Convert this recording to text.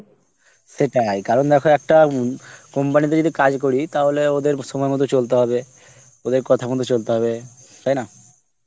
সেটাই কারণ দেখো একটা উম company তে যদি কাজ করি তাহলে ওদের সময় মত চলতে হবে, ওদের কথা মত চলতে হবে তাইনা